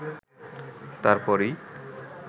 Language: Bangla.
তার পরই